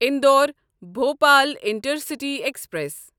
Indore Bhopal intercity express